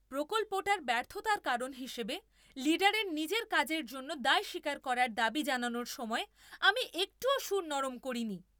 প্রকল্পটার ব্যর্থতার কারণ হিসেবে লিডারের নিজের কাজের জন্য দায় স্বীকার করার দাবি জানানোর সময় আমি একটুও সুর নরম করিনি।